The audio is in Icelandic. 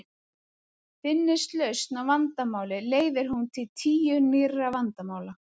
Finnist lausn á vandamáli leiðir hún til tíu nýrra vandamála.